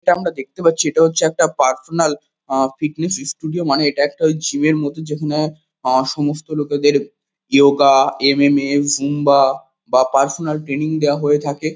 এটা আমরা দেখতে পাচ্ছি এটা হচ্ছে একটা পার্সোনাল আ ফিটনেস ষ্টুডিও মানে এটা একটা ওই জিম -এর মতো যেখানে আ সমস্ত লোকেদের ইয়োগা এম.এম.এ. জুম্বা বা পার্সোনাল ট্রেনিং দেওয়া হয়ে থাকে।